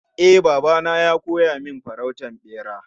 Eh, baba na ya koya min farautar bera